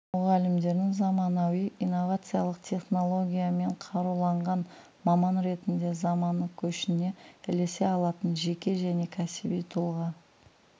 мұғалімдерін заманауи инновациялық технологиямен қаруланған маман ретінде замана көшіне ілесе алатын жеке және кәсіби тұлға